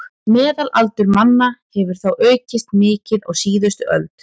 Meðalaldur manna hefur þó aukist mikið á síðustu öld.